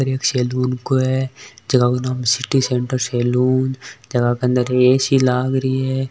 एक सलून है जेको नाम सिटी सेंटर सलून जग के अंदर ऐ_सी लागरी है।